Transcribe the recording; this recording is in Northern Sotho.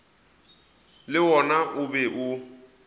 le wona o be o